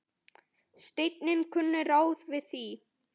Steini kunni ráð við því.